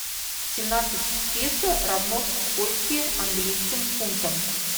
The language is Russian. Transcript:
семнадцать песо равно скольки английским фунтам